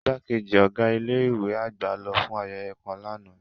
Igbakeji ọga ile-iwe agba lo fun ayeye kan làná.